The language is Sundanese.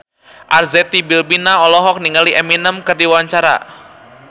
Arzetti Bilbina olohok ningali Eminem keur diwawancara